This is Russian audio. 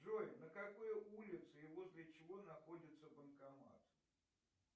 джой на какой улице и возле чего находится банкомат